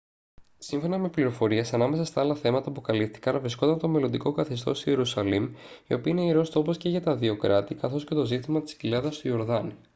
σύμφωνα με πληροφορίες ανάμεσα στα άλλα θέματα που καλύφθηκαν βρισκόταν το μελλοντικό καθεστώς της ιερουσαλήμ η οποία είναι ιερός τόπος και για τα δύο κράτη καθώς και το ζήτημα της κοιλάδας του ιορδάνη